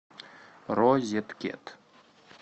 розеткед